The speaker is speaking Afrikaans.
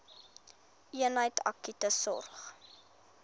eenheid akute sorg